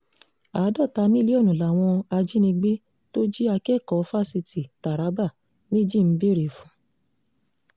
àádọ́ta mílíọ̀nù làwọn ajìnigbe tó jí akẹ́kọ̀ọ́ fásitì taraba méjì ń béèrè fún